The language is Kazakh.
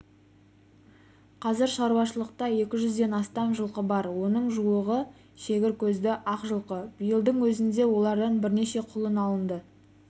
қазір шаруашылықта екі жүзден астам жылқы бар оның жуығы шегір көзді ақ жылқы биылдың өзінде олардан бірнеше құлын алынды